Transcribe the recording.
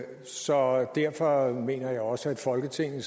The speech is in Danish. så derfor mener jeg også at folketinget